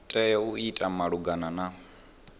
tea u ita malugana na